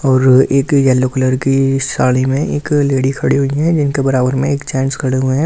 और एक yellow colour की साड़ी में एक लेडी खड़ी हुई है इनके बराबर में एक जेन्ट्स खड़े हुए हैं।